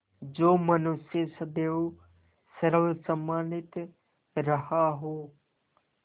जो मनुष्य सदैव सर्वसम्मानित रहा हो